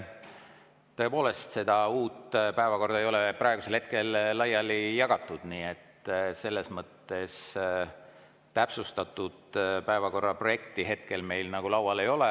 Tõepoolest, seda uut päevakorda ei ole praegusel hetkel laiali jagatud, nii et selles mõttes täpsustatud päevakorda hetkel meil laual ei ole.